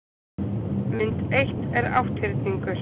mynd eitt er átthyrningur